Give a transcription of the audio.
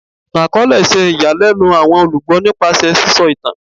Ìtàn-akọọlẹ ṣe ìyàlẹ́nu àwọn olùgbọ́ nípasẹ̀ sísọ ìtàn